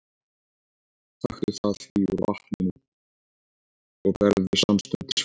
Taktu það því úr vatninu og berðu samstundis fram.